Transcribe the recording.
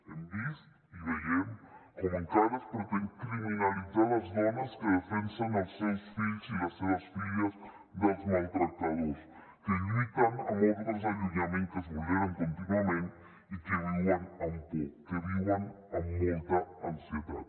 hem vist i veiem com encara es pretén criminalitzar les dones que defensen els seus fills i les seves filles dels maltractadors que lluiten amb ordres d’allunyament que es vulneren contínuament i que viuen amb por que viuen amb molta ansietat